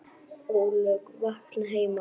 ólög vakna heima.